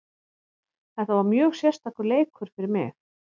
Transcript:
Þetta var mjög sérstakur leikur fyrir mig.